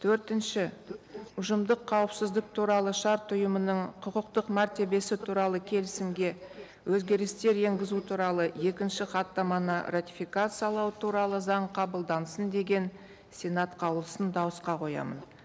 төртінші ұжымдық қауіпсіздік туралы шарт ұйымының құқықтық мәртебесі туралы келісімге өзгерістер енгізу туралы екінші хаттаманы ратификациялау туралы заң қабылдансын деген сенат қаулысын дауысқа қоямын